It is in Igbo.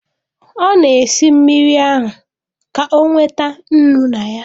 Ọ na-esi mmiri ahụ, ka o nweta nnu na ya